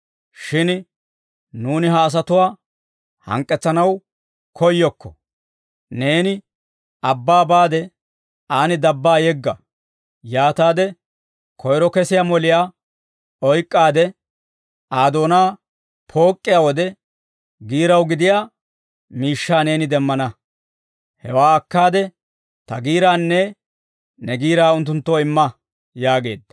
Shin nuuni ha asatuwaa hank'k'etsanaw koyyokko; neeni abbaa baade aan dabbaa yegga; yaataade koyro kesiyaa moliyaa oyk'k'aade, Aa doonaa pook'iyaa wode, giiraw gidiyaa miishshaa neeni demmana. Hewaa akkaade, ta giiraanne ne giiraa unttunttoo imma» yaageedda.